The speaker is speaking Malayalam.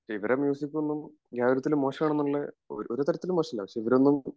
ഇവരുടെ മ്യൂസിക്കോന്നും യാതൊരുവിധത്തിലും മോശമാണെന്നുള്ള പക്ഷെ ഇവരൊന്നും